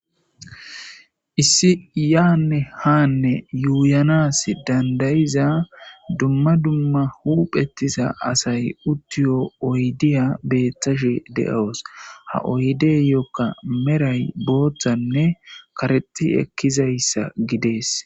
Issi yaanne haanne yuuyanas dandayiza dumma dumma huphetisa asay uttiyo oydiya bettashe de'oos ha oydeyokka meray booththanne kareti ekkizayssa gidee.